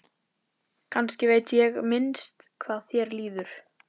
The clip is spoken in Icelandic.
Kannski veit ég minnst hvað þér líður.